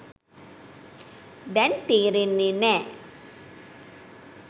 දැන් තේරෙන්නේ නෑ.